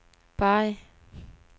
Bari